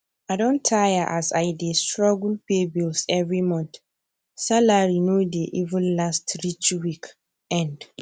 i don tire as i dey struggle pay bills every month salary no dey even last reach week end